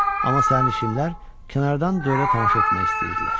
Amma sərnişinlər kənardan durub tamaşa etmək istəyirdilər.